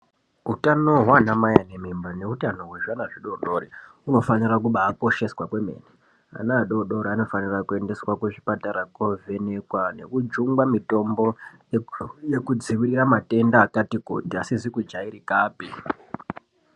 Utano hwaana mai ane mimba neutano hwezvana zvidodori unofanira kubaakosheswa kwomene. Ana adodori anofanira kubaaendeswa kuzvipatara kovhenekwa nekujungwa mitombo nekudzivirira matenda akati kuti asizi kujairikapi.